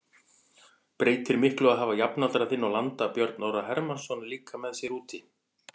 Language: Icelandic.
Breytir miklu að hafa jafnaldra þinn og landa Björn Orra Hermannsson líka með sér úti?